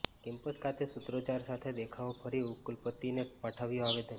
campus ખાતે સુત્રોચ્ચાર સાથે દેખાવો કરી ઉપકુલપતિને પાઠવ્યું આવેદન